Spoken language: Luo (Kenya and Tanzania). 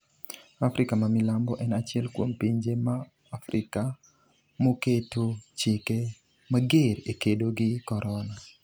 Afrika ma milambo en achiel kuom pinje ma Afrika moketo chike mager e kedo gi korona